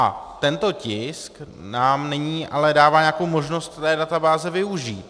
A tento tisk nám nyní ale dává nějakou možnost té databáze využít.